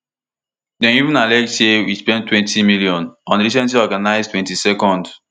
dem even allege say we spend two hundred million on di recently organised twenty-twond